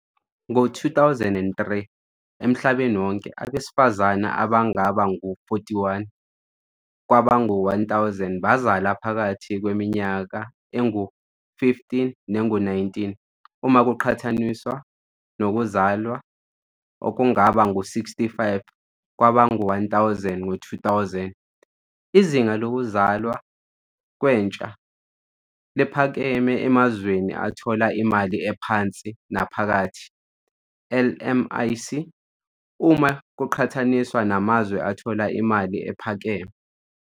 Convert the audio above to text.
Ngo-2023, emhlabeni wonke, abesifazane abangaba ngu-41 kwabangu-1,000 bazala phakathi kweminyaka engu-15 nengu-19, uma kuqhathaniswa nokuzalwa okungaba ngu-65 kwabangu-1.000 ngo-2000. Izinga lokuzalwa kwentsha liphakeme emazweni athola imali ephansi nephakathi, LMIC, uma kuqhathaniswa namazwe athola imali ephakeme.